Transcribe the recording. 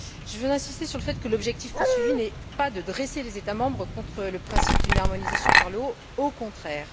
Je voudrais insister sur le fait que l'objectif poursuivi n'est pas de dresser les États membres contre le principe d'une harmonisation par le haut, au contraire.